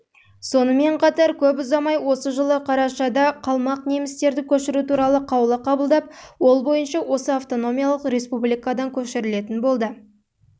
сонымен қатар көп ұзамай осы жылы қарашада қалмақ немістерді көшіру туралы қаулы қабылдап ол бойынша осы автономиялық республикадан